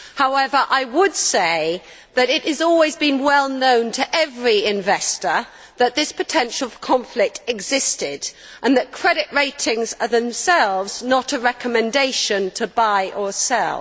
However, I would say that it has always been well known to every investor that this potential for conflict existed and that credit ratings are themselves not a recommendation to buy or sell.